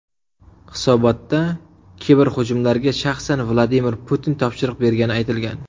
Hisobotda kiberhujumlarga shaxsan Vladimir Putin topshiriq bergani aytilgan.